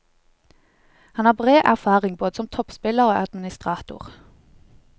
Han har bred erfaring både som toppspiller og administrator.